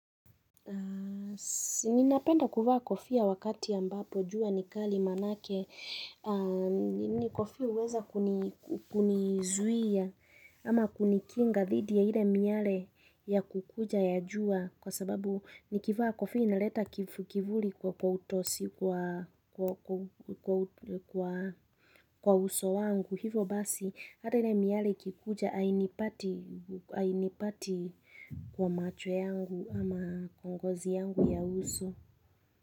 Sininapenda kuvaa kofia wakati ambapo jua ni kali maanake a ni kofia huweza kuni ku kuni zuia, ama kunikinga dhidi ya ile miale, ya kukuja ya jua. Kwa sababu, nikivaa kofia inaleta kif kivuli kwa kwa utosi kwa kwa kwau kwa uso wangu. Hivo basi, hata ile miale ikikuja ainipati ainipati kwa macho yangu ama kongozi yangu ya uso.